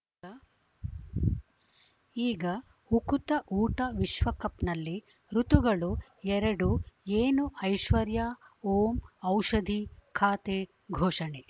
ಈಗ ಉಕುತ ಊಟ ವಿಶ್ವಕಪ್‌ನಲ್ಲಿ ಋತುಗಳು ಎರಡು ಏನು ಐಶ್ವರ್ಯಾ ಓಂ ಔಷಧಿ ಖಾತೆ ಘೋಷಣೆ